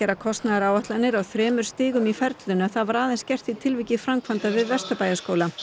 kostnaðaráætlanir á þremur stigum í ferlinu en það var aðeins gert í tilviki framkvæmda við Vesturbæjarskóla